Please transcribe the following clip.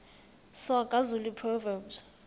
soga zulu proverbs